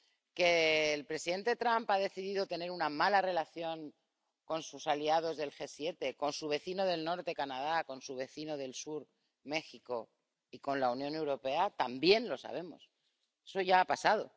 que el presidente Trump ha decidido tener una mala relación con sus aliados del G 7, con su vecino del norte, Canadá, con su vecino del sur, México, y con la Unión Europea también lo sabemos, eso ya ha pasado